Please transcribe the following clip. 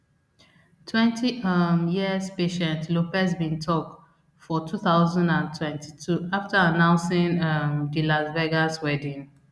twenty um years patient lopez bin tok for two thousand and twenty-two after announcing um di las vegas wedding